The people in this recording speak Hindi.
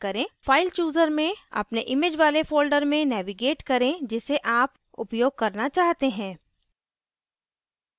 file chooser में अपने image वाले folder में navigate करें जिसे आप उपयोग करना चाहते हैं